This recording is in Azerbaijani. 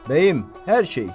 Bəyim, hər şey.